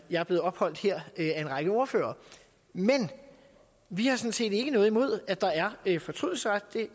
jeg er blevet opholdt her af en række ordførere vi har sådan set ikke noget imod at der er er fortrydelsesret